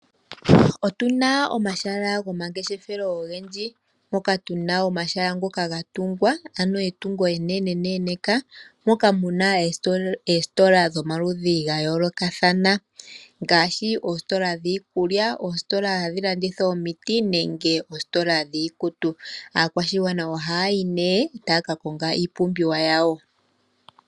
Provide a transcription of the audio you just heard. Otuna omahala goma ngeshethelo ogendji, mpoka tuna omahala ga tungwa ano etungo enene moka muna oostola dhomaludhi ga yolokathana ngashi oostola dhiikulya, oostola hadhi landithwa omiti nenge oostola dhiikutu. Aakwashigwana ohaya yi ne taya ka konga iipumbiwa yawo.